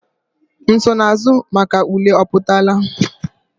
Nsonaazụ maka ule apụtala?